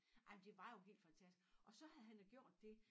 Ej men det var jo helt fantastisk og så havde han jo gjort det